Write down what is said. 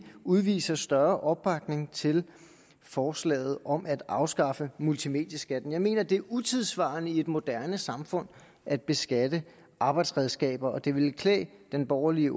udviser større opbakning til forslaget om at afskaffe multimedieskatten jeg mener det er utidssvarende i et moderne samfund at beskatte arbejdsredskaber og det ville klæde den borgerlige